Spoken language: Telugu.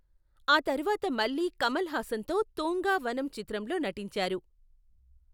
ఆ తర్వాత మళ్లీ కమల్ హాసన్తో తూంగా వనం చిత్రంలో నటించారు .